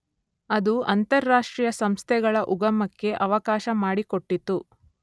ಅದು ಅಂತಾರಾಷ್ಟ್ರೀಯ ಸಂಸ್ಥೆಗಳ ಉಗಮಕ್ಕೆ ಅವಕಾಶ ಮಾಡಿಕೊಟ್ಟಿತು.